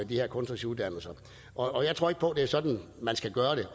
her kunstneriske uddannelser og jeg tror ikke på det er sådan man skal gøre det